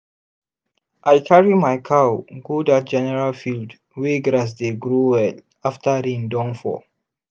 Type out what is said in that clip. i carry my cow go that general field wey grass dey grow well after rain don fall.